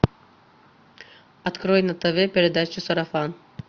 открой на тв передачу сарафан